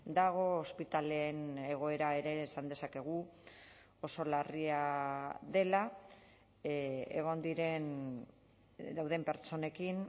dago ospitaleen egoera ere esan dezakegu oso larria dela egon diren dauden pertsonekin